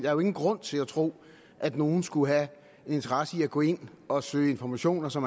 er jo ingen grund til at tro at nogen skulle have en interesse i at gå ind og søge informationer som